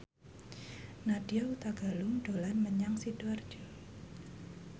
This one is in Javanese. Nadya Hutagalung dolan menyang Sidoarjo